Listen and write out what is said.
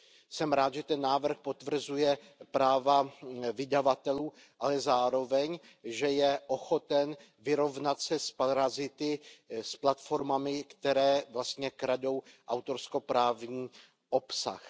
Jsem rád, že ten návrh potvrzuje práva vydavatelů, ale zároveň že je ochoten vyrovnat se s parazity, s platformami, které vlastně kradou autorskoprávní obsah.